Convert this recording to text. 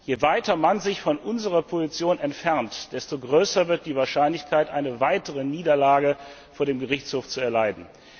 Je weiter man sich von unserer Position entfernt, desto größer wird die Wahrscheinlichkeit, eine weitere Niederlage vor dem Gerichtshof zu erleiden.